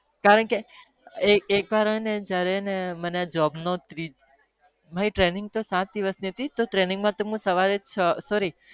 કારણ કે એક વાર હું આ સવારે છ વહે જતો ત્યારેવ